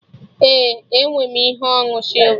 Ee, enwe m ihe onu sịlva